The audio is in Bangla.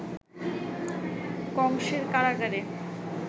কংসের কারাগারে